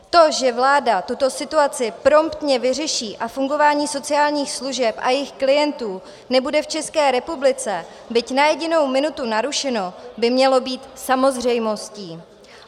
To, že vláda tuto situaci promptně vyřeší a fungování sociálních služeb a jejích klientů nebude v České republice byť na jedinou minutu narušeno, by mělo být samozřejmostí.